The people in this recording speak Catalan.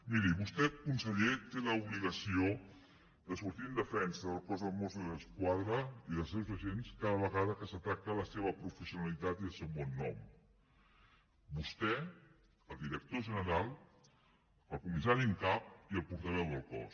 miri vostè conseller té l’obligació de sortir en defensa del cos dels mossos d’esquadra i dels seus agents cada vegada que s’ataca la seva professionalitat i el seu bon nom vostè el director general el comissari en cap i el portaveu del cos